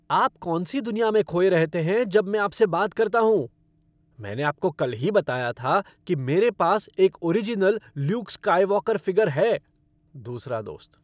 आप कौन सी दुनिया में खोए रहते हैं जब मैं आप से बात करता हूँ। मैंने आपको कल ही बताया था कि मेरे पास एक ओरिजिनल ल्यूक स्काईवॉकर फ़िगर है। दूसरा दोस्त